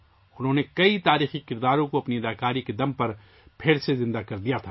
انہوں نے اپنی اداکاری کے بل بوتے پر کئی تاریخی کرداروں کو زندہ کیا